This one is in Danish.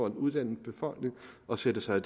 en uddannet befolkning og sætter sig i